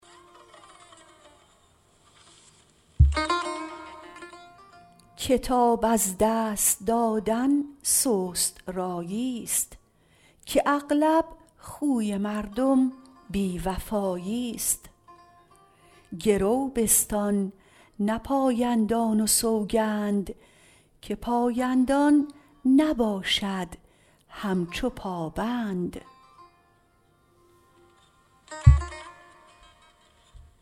کتاب از دست دادن سست رایی ست که اغلب خوی مردم بی وفایی ست گرو بستان نه پایندان و سوگند که پایندان نباشد همچو پا بند